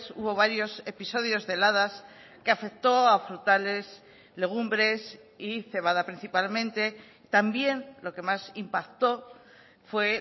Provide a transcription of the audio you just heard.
hubo varios episodios de heladas que afectó a frutales legumbres y cebada principalmente también lo que más impacto fue